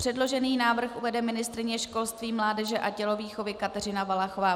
Předložený návrh uvede ministryně školství, mládeže a tělovýchovy Kateřina Valachová.